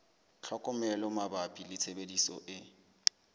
tlhokomelo mabapi le tshebediso e